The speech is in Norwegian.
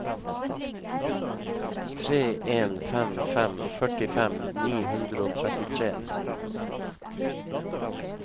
tre en fem fem førtifem ni hundre og trettitre